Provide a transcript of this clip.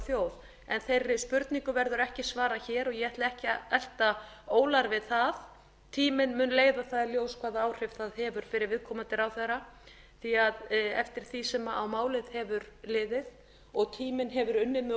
þjóð en þessum spurningum verður ekki svarað hér og ég ætla ekki að elta ólar við það tíminn mun leiða það í ljós hvaða áhrif það hefur fyrir viðkomandi ráðherra því að eftir því sem á málið hefur liðið og tíminn hefur unnið með